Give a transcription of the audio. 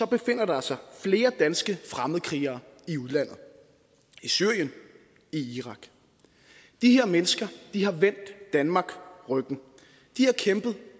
befinder der sig flere danske fremmedkrigere i udlandet i syrien i irak de her mennesker har vendt danmark ryggen de har kæmpet